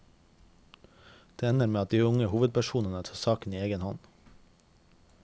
Det ender med at de unge hovedpersonene tar saken i egen hånd.